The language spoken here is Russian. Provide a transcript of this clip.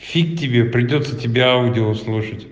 фиг тебе придётся тебя аудио слушать